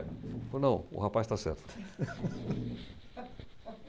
Falou não, o rapaz está certo.